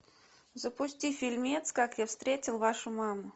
запусти фильмец как я встретил вашу маму